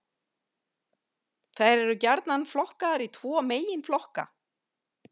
Þær eru gjarnan flokkaðar í tvo meginflokka.